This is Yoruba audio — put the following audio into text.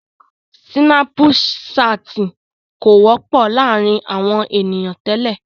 Sínàpù saàtì kò wọ́pọ̀ láàrin àwọn ènìyàn tẹ́lẹ̀.